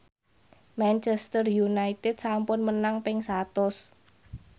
Manchester united sampun menang ping satus